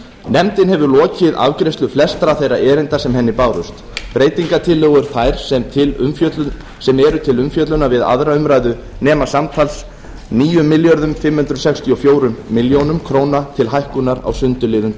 nefndin hefur lokið afgreiðslu flestra þeirra erinda sem henni bárust breytingartillögur þær sem eru til umfjöllunar við aðra umræðu nema samtals níu þúsund fimm hundruð sextíu og fjögur og hálft ár til hækkunar á sundurliðun